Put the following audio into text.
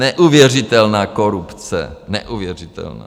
Neuvěřitelná korupce, neuvěřitelná.